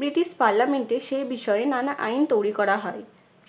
British parliament এ সেই বিষয়ে নানা আইন তৈরি করা হয়।